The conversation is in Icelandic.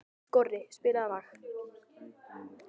Skorri, spilaðu lag.